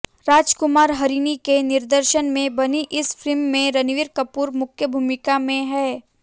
राजकुमार हिरानी के निर्देशन में बनी इस फिल्म में रणबीर कपूर मुख्य भूमिका में हैं